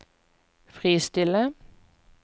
fristille